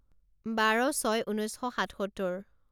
বাৰ ছয় ঊনৈছ শ সাতসত্তৰ